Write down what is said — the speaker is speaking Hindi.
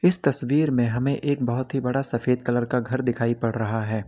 इस तस्वीर में हमें एक बहुत ही बड़ा सफेद कलर का घर दिखाई पड़ रहा है।